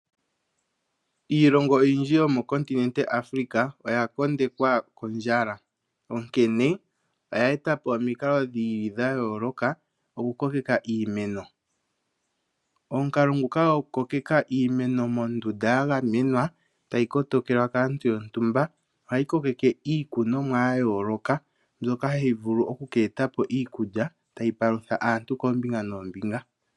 Iilongo oyindji yomenenevi Africa, oya kondekwa kondjala. Onkene oya eta po omikalo dhi li dha yooloka okukokeka iimeno. Omukalo nguka gokukokeka iimeno mondunda ya gamenwa, tayi kotokelwa kaantu yontumba. Ohayi kokeke iikunwomwa ya yooloka, mbyoka hayi vulu oku ka eta po iikulya tayi palutha antu koombinga noombinga.